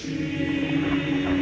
í